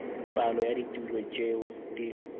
palo ya ditulo tšeo di